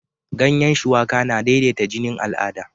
Ganyan shuwaka na daidaita jinin al'ada